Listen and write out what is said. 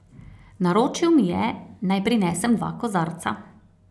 Naročil mi je, naj prinesem dva kozarca.